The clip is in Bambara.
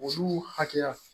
Olu hakɛya